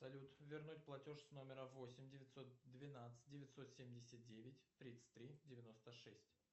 салют вернуть платеж с номера восемь девятьсот двенадцать девятьсот семьдесят девять тридцать три девяносто шесть